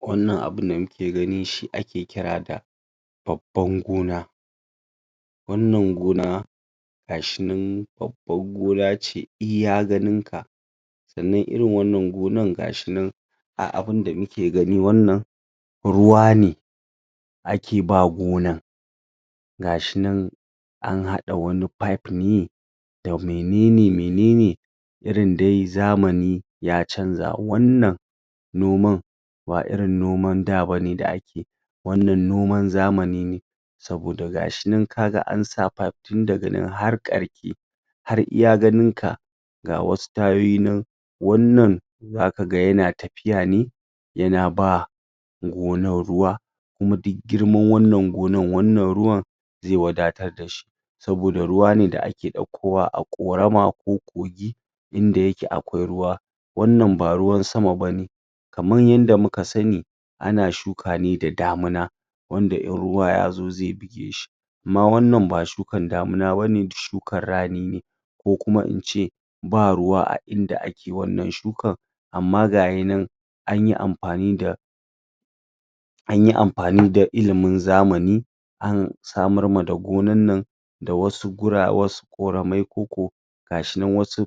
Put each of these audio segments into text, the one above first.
wannan abun da muke gani shi ake kira da babban gona wannan goma gashinan babban gona ce iya ganin ka sannan irin wannan gonan gashinan a abin da muke gani wannan ruwa ne ake ba gonan gashinan an hada wani fayif ne da mainene-mainene jrin dai zamani ya canza wannan noman ba irin noman da bane da ake wannan noman zamaninne saboda gashi nan an sa fayif tin daga nan har karke har iya ganin ka ga wasu tayoyi nan wannan, za kaga yana tafiya ne yana ba gonan ruwa kuma duk girman wannan gonan wannan ruwan zai wadatar da sh,i saboda ruwa ne da ake daukowa a korama ko kogi inda yake a kwai ruwa wannan ba ruwan sama ba ne kamar yadda muka sani ana shuka ne da damina wanda in ruwa ya zo zai bige shi amma wannan ba shukan damina ba ne shukan rani ne ko kuma in ce ba ruwa a inda ake wannan shukan amma ga yanan anyi amfani da anyi amfani da ilimin zamani an samarma da gonan nan wasu gura, da wasu koramai koko gashinan wasu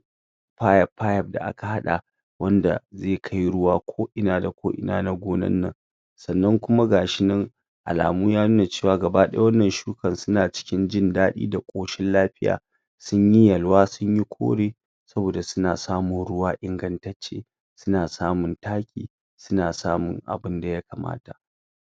fayif-fayif da aka hada wanda zai kai ruwa ko ina da ko ina na gonannan sannan kuma gashinan alamu ya nuna gabadaya wannan sukan suna cikin jin dadi da koshin lafiya sun yi yalwa sun yi kore sabida suna samun ruwa ingantacce suna samun taki suna samun abin da ya kamata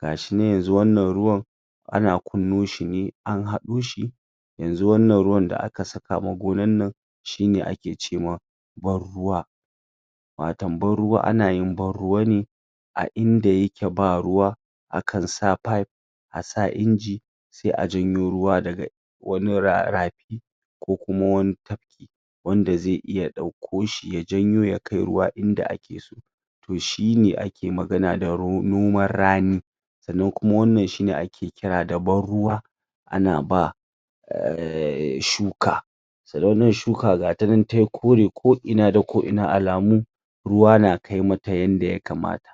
ga shi nan yanzu wannan ruwan wannan ruwan anan kunno shi ne an hadoshi yanzu wannan ruwan da aka sakama gonannan shi ne ake cema barruwa wato barruwa, ana yin barruwa ne a inda yake ba ruwa akan sa fayif a sa inji sai a janyo ruwa daga wani rara rafi ko kuma wani tafki wanda zai iya dauko shi ya janyo ya kai ruwa inda ake so to shi ne ake magana da noman rani sanan kuma wannan shi ne ake kira da barruwa ana ba aaaa shuka sanan shuka gatanan tai kore ko'ina da ko'ina alamu ruwa na kai mata yanda ya kamata